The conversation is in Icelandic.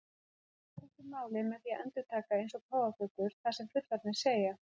Börn læra ekki málið með því að endurtaka eins og páfagaukar það sem fullorðnir segja.